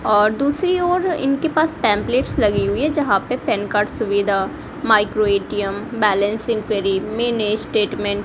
और दूसरी ओर इनके पास पेंपलेट्स लगी हुई है जहां पर पैन कार्ड सुविधा micro ATM balance enquiry mini statement --